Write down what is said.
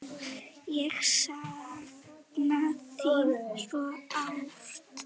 Ég sakna þín svo sárt.